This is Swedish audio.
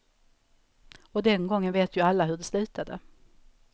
Och den gången vet ju alla hur det slutade.